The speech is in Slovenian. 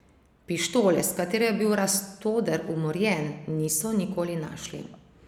Pištole, s katero je bil Rastoder umorjen, niso nikoli našli.